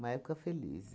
Uma época feliz.